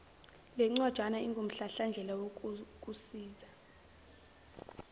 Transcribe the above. lencwajana ingumhlahlandlela wokukusiza